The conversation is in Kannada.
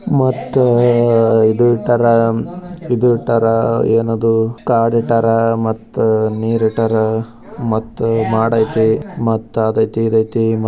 ಮತ್ತು ಇದು ಎಟ್ಟರ್ ಎನದು ಕಾರ್ ಇಟ್ಟರ್ ಮತ್ತು ನೀರ್ ಇಟ್ಟರ್ ಮತ್ತು ಮಾಡ್ ಐತಿ ಮತ್ತು ಅದ ಐತಿ ಇದ ಐತಿ .